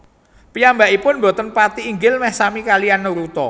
Piyambakipun boten pati inggil meh sami kaliyan Naruto